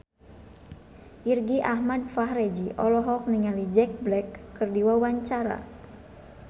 Irgi Ahmad Fahrezi olohok ningali Jack Black keur diwawancara